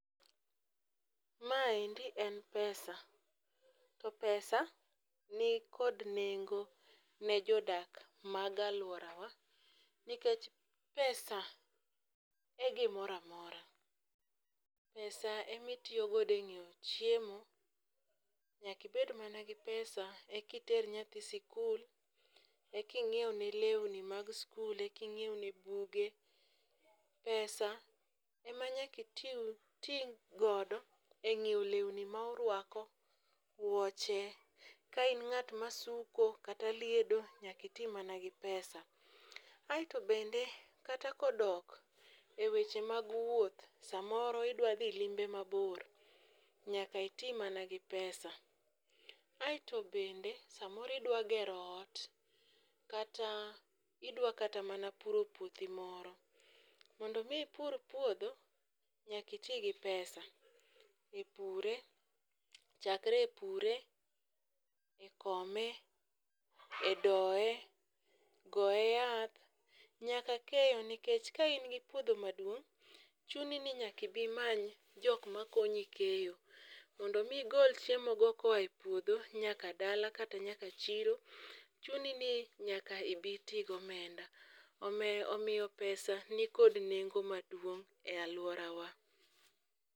Maendi en pesa. To pesa nikod nengo ne jodak ma alworawa, nikech pesa e gimoramora. Pesa emitiyodogo e ng'iewo chiemo, nyaka ibed mana gi pesa ekiter nyathi sikul, eking'iewne lewni mag skul, eking'iewne buge. Pesa emanyaka itiu iti godo ng'iew lewni ma urwako, wuoche, ka in ng'at ma suko kata liedo nyaka iti mana gi pesa. Aeto bende kata ka odok e weche mag wuoth samoro idwa dhi limbe mabor, nyaka iti mana gi pesa. Aeto bende samoro idwa gero ot kata idwa kata mana puro puothi moro, mondo mi ipur puodho nyakiti gi pesa, e pure, chakre e pure, e kome, e doe, goe yath nyaka keyo nikech ka in gi puodho maduong', chuni ni nyakibimany jok makonyi keyo, mondi mi igol chiemo go koa e puodho nyaka dala kata nyaka chiro chuni ni nyaka ibiti gomenda. Omeyo omiyo pesa nikod nengo maduong' e alworawa.